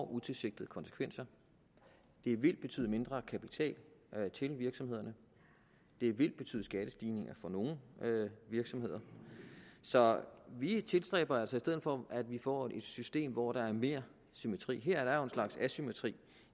utilsigtede konsekvenser det vil betyde mindre kapital til virksomhederne det vil betyde skattestigninger for nogle virksomheder så vi tilstræber altså i stedet for at vi får et system hvor der er mere symmetri her er der jo en slags asymmetri